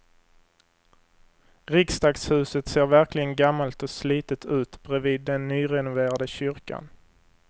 Riksdagshuset ser verkligen gammalt och slitet ut bredvid den nyrenoverade kyrkan.